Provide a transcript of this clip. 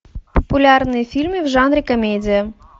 популярные фильмы в жанре комедия